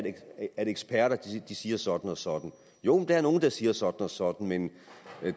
eksperter siger sådan og sådan jo der er nogle der siger sådan og sådan men